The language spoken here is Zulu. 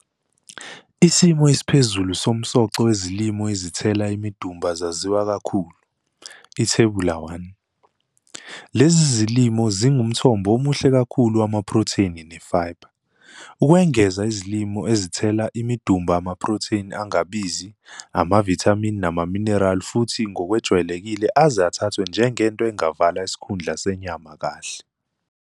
Isimo esiphezulu somsoco wezilimo ezithela imidumba zaziwa kakhulu, Ithebula 1. Lezi zilimo zingumthombo omuhle kakhulu wamaphrotheni ne-fibre. Ukwengeza izilimo ezithela imidumba amaphrotheni angabizi, amavithamini namamineral futhi ngokwejwayelekile aze athathwe njengento engavala isikhundla senyama kahle.